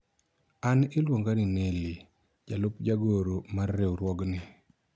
an iluonga ni Neli ,jalup jagoro mar riwruogni